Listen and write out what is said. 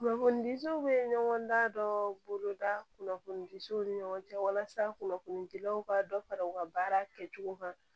Kunnafonidiw bɛ ɲɔgɔn da dɔ boloda kunnafonidiw ni ɲɔgɔn cɛ walasa kunnafoni dilaw ka dɔ fara u ka baara kɛcogo kan